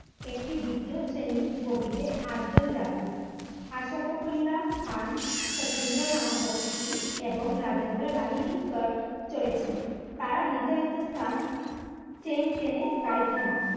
একটি বিধুত শ্রেণীর বগিতে আঠ জন যাত্রী আসাফাকুল্লা খান, সচিন্দ্রনাথ বক্সী, এবং রাজেন্দ্র লাহিড়ী চ চড়েছিলেন তারা নির্ধারিত স্থান chain টেনে গাড়ি থামায়ে